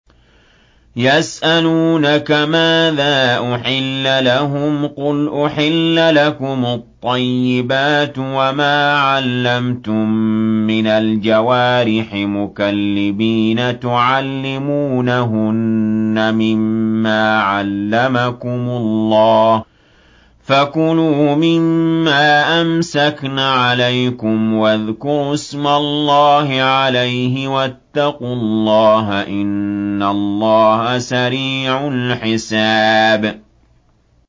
يَسْأَلُونَكَ مَاذَا أُحِلَّ لَهُمْ ۖ قُلْ أُحِلَّ لَكُمُ الطَّيِّبَاتُ ۙ وَمَا عَلَّمْتُم مِّنَ الْجَوَارِحِ مُكَلِّبِينَ تُعَلِّمُونَهُنَّ مِمَّا عَلَّمَكُمُ اللَّهُ ۖ فَكُلُوا مِمَّا أَمْسَكْنَ عَلَيْكُمْ وَاذْكُرُوا اسْمَ اللَّهِ عَلَيْهِ ۖ وَاتَّقُوا اللَّهَ ۚ إِنَّ اللَّهَ سَرِيعُ الْحِسَابِ